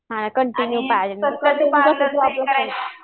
हां कंटिन्यू पाहिजे